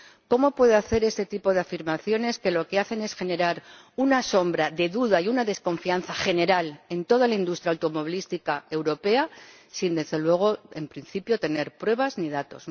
¿Cómo puede hacer este tipo de afirmaciones, que lo que hacen es generar una sombra de duda y una desconfianza general en toda la industria automovilística europea, sin —desde luego en principio— tener pruebas ni datos?